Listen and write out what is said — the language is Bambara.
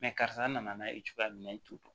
karisa nana n'a ye cogoya min na i t'o dɔn